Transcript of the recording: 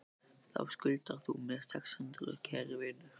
Þá skuldar þú mér sex hundruð, kæri vinur.